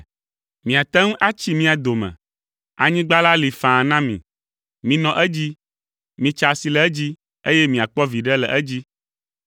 Miate ŋu atsi mía dome; anyigba la li faa na mi. Minɔ edzi, mitsa asi le edzi, eye miakpɔ viɖe le edzi.”